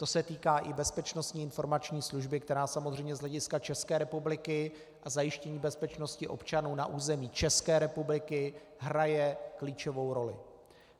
To se týká i Bezpečnostní informační služby, která samozřejmě z hlediska České republiky a zajištění bezpečnosti občanů na území České republiky hraje klíčovou roli.